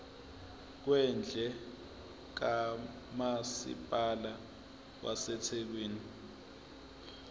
kwendle kamasipala wasethekwini